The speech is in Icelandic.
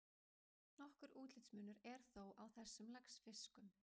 Nokkur útlitsmunur er þó á þessum laxfiskum.